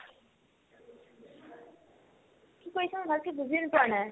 কি কৈছা মই ভালকে বুজিয়ে পোৱা নাই